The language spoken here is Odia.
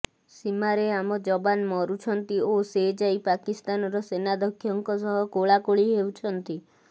ସୀମାରେ ଆମ ଯବାନ ମରୁଛନ୍ତି ଓ ସେ ଯାଇ ପାକିସ୍ତାନର ସେନାଧ୍ୟକ୍ଷଙ୍କ ସହ କୋଳାକୋଳି ହେଉଛନ୍ତି